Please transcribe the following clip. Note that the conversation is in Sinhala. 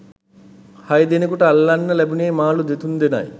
හයදෙනෙකුට අල්ලන්න ලැබුනෙ මාළු දෙතුන්දෙනයි.